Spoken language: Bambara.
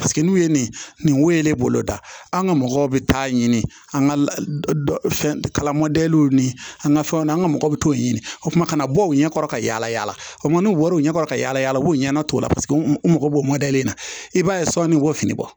Paseke n'u ye nin wo ye ne bolo da an ka mɔgɔw bɛ taa ɲini an ka kala mɔdɛliw ni an ka fɛnw na an ka mɔgɔw bɛ t'o ɲini o kuma kana bɔ o ɲɛ kɔrɔ ka yala yala o wariw ɲɛkɔrɔ ka yaala yaala u b'o ɲɛnat'o la paseke u mago b'o na i b'a ye sɔ ni k'o fini bɔ